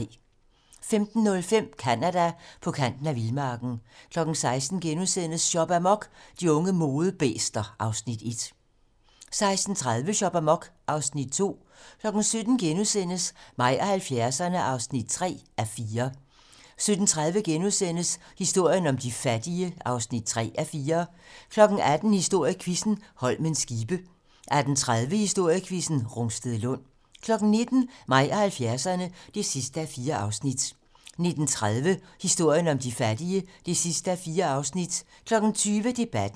15:05: Canada: På kanten af vildmarken 16:00: Shop amok - De unge modebæster (Afs. 1)* 16:30: Shop amok (Afs. 2) 17:00: Mig og 70'erne (3:4)* 17:30: Historien om de fattige (3:4)* 18:00: Historiequizzen: Holmens skibe 18:30: Historiequizzen: Rungstedlund 19:00: Mig og 70'erne (4:4) 19:30: Historien om de fattige (4:4) 20:00: Debatten